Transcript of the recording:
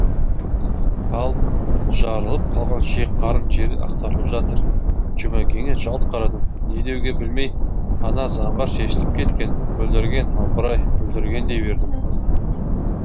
ал жарылып қалған ішек қарын жерде ақтарылып жатыр жұмекеңе жалт қарадым не деуге білмей ана заңғар шешіліп кеткен бүлдірген апыр ай бүлдірген дей бердім